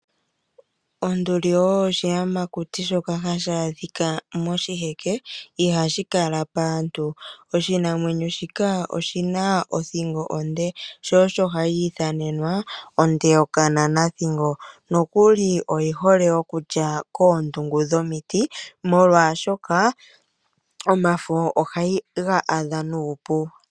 Onduli oyo oshiyamakuti shoka hashi adhika moshiheke na ihashi kala paantu. Onduli oyi na othingo onde sho osho hayi ithanenwa onde yokananathingo. Oha yi li koondungu dhomiti oshoka omafo ohayi ga adha nuupu.